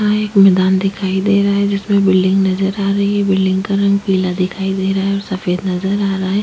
यहाँ एक मैदान दिखाई दे रहा है जिसमें बिल्डिंग नज़र आ रही है बिल्डिंग का रंग पीला दिखाई दे रहा है और सफ़ेद नज़र आ रहा है।